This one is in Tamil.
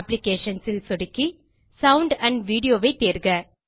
அப்ளிகேஷன்ஸ் ல் சொடுக்கி சவுண்ட் ஐ தேர்க